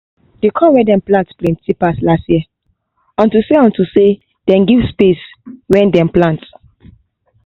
the corn wey dey pluck plenty pass last year own unto say unto say they give space wen dey plant